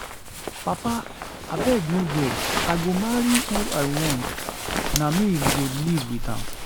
Papa abeg no vex, I go marry who I want, na me go live with am.